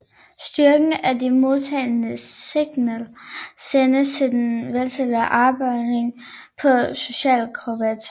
Styrken af de modtagne signal sendes til den vertikale afbøjning på oscilloskopet